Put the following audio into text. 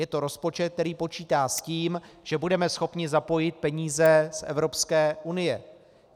Je to rozpočet, který počítá s tím, že budeme schopni zapojit peníze z Evropské unie.